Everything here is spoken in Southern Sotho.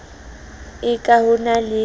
e ka ho na le